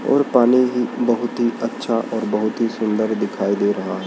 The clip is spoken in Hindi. और पानी ही बहुत ही अच्छा और बहुत ही सुंदर दिखाई दे रहा है।